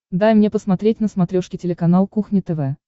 дай мне посмотреть на смотрешке телеканал кухня тв